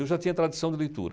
Eu já tinha tradição de leitura.